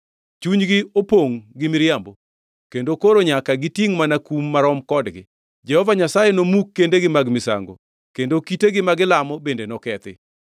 Chunygi opongʼ gi miriambo kendo koro nyaka gitingʼ mana kum marom kodgi. Jehova Nyasaye nomuk kendegi mag misango kendo kitegi ma gilamo bende nokethi.